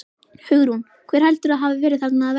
Hugrún: Hver heldurðu að hafi verið þarna að verki?